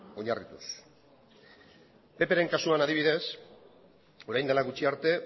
oinarrituz pp ren kasuan adibidez orain dela gutxi arte